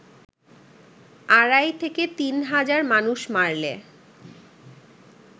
আড়াই-তিন হাজার মানুষ মারলে